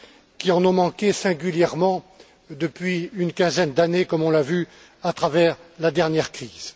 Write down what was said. qui en ont manqué singulièrement, depuis une quinzaine d'années, comme on l'a vu à travers la dernière crise.